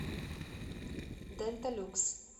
денталюкс